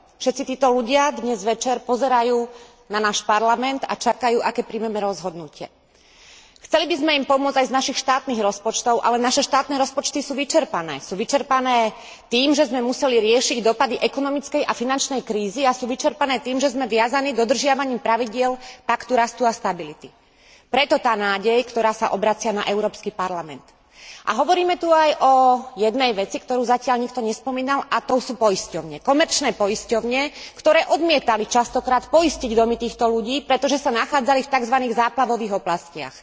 Všetci títo ľudia dnes večer pozerajú na náš Parlament a čakajú, aké rozhodnutia prijmeme. Chceli by sme im pomôcť aj z našich štátnych rozpočtov, ale naše štátne rozpočty sú vyčerpané, sú vyčerpané tým, že sme museli riešiť dosah ekonomickej a finančnej krízy, a sú vyčerpané tým, že sme viazaní dodržiavaním pravidiel Paktu rastu a stability. Preto tá nádej, s ktorou sa obracajú na Európsky parlament. A hovoríme tu aj o jednej veci, ktorú zatiaľ nikto nespomínal, a tou sú poisťovne, komerčné poisťovne, ktoré odmietali mnohokrát poistiť domy týchto ľudí, pretože sa nachádzali v takzvaných záplavových oblastiach.